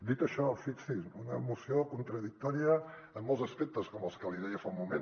dit això fixi s’hi una moció contradictòria en molts aspectes com els que li deia fa un moment